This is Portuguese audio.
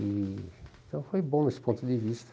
E então, foi bom nesse ponto de vista.